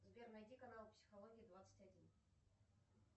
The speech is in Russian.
сбер найди канал психология двадцать один